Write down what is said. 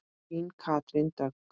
Þín Katrín Dögg.